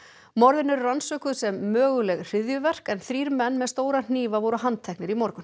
morðin eru rannsökuð sem möguleg hryðjuverk en þrír menn með stóra hnífa voru handteknir í morgun